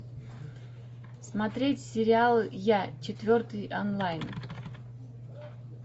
смотреть сериал я четвертый онлайн